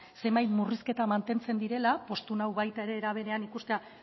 zenbait murrizketa mantentzen direla poztu nau baita ere era berean ikustea